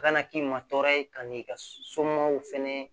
A kana k'i ma tɔɔrɔ ye ka n'i ka so somɔgɔw fɛnɛ